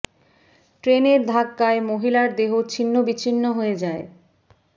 ট্রেনের র ধাক্কায় মহিলার দেহ ছিন্ন বিছিন্ন হয়ে যায়